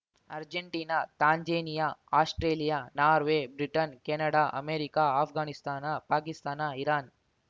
Argentina Tanzania Australia Norway Britain Canada America Afghanistan Pakistan Iran